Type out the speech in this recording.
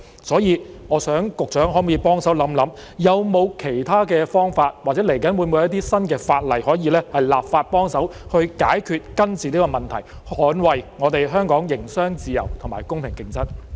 所以，局長可否幫忙想一想，有否其他方法或接下來會否制定新的法例，可以幫助解決、根治這個問題，捍衞我們香港的營商自由和公平競爭？